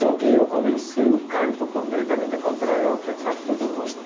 Só que eu comecei o canto completamente contrário ao que faz todo mundo.